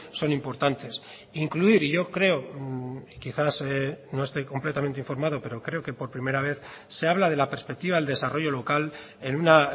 son importantes incluir y yo creo quizás no estoy completamente informado pero creo que por primera vez se habla de la perspectiva del desarrollo local en una